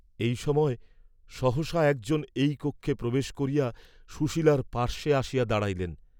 এই সময় সহসা এক জন এই কক্ষে প্রবেশ করিয়া সুশীলার পার্শ্বে আসিয়া দাঁড়াইলেন।